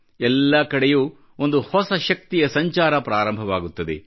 ಎಲ್ಲಾ ಕಡೆಯೂ ಒಂದು ಹೊಸ ಶಕ್ತಿಯ ಸಂಚಾರ ಪ್ರಾರಂಭವಾಗುತ್ತದೆ